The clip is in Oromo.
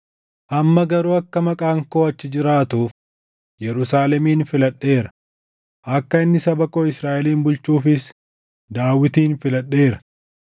Amma garuu akka maqaan koo achi jiraatuuf Yerusaalemin filadheera; akka inni saba koo Israaʼelin bulchuufis Daawitin filadheera.’